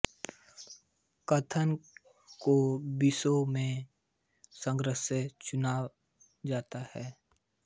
कथन को विषयों के संग्रह से चुना जाता है